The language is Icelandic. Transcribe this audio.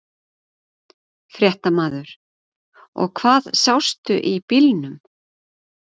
Fréttamaður: Og hvað sástu í bílnum?